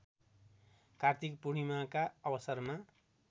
कार्तिक पूर्णिमाका अवसरमा